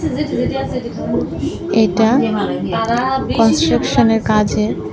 এটা কনস্ট্রাকশনের কাজের।